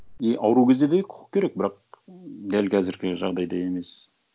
и ауру кезде де құқық керек бірақ дәл қазіргі жағдайда емес